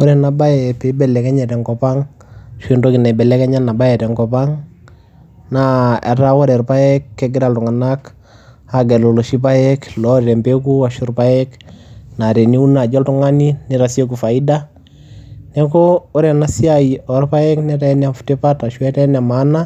Ore ena baye pibelekenye te nkop ang' ashu entoki naibelekenya ena baye tenkop ang', naa etaa ore irpaek kegira iltung'anak aagelu iloshi paek loota empeku ashu irpaek naa teniun naaji nitasieku faida. Neeku ore ena siai orpaek netaa ene tipat ashu etaa ene maana